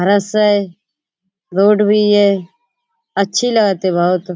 वैसे रोड भी ये अच्छी लगती है बहुत।